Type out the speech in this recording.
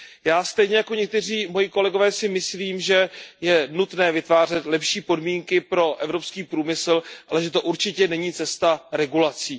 Já si stejně jako někteří moji kolegové myslím, že je nutné vytvářet lepší podmínky pro evropský průmysl, ale že to určitě není cestou regulací.